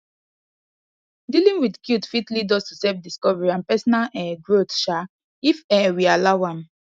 dealing with guilt fit lead us to self discovery and personal um growth um if um we allow am